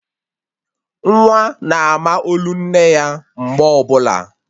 Nwa na-ama olu nne ya mgbe ọbụla